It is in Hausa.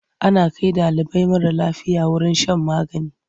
Ana kai ɗalibi mara lafiya wurin shan magani.